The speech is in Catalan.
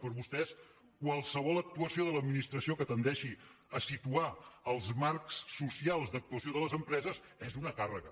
per vostès qualsevol actuació de l’administració que tendeixi a situar els marcs socials d’actuació de les empreses és una càrrega